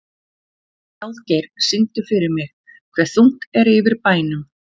Ráðgeir, syngdu fyrir mig „Hve þungt er yfir bænum“.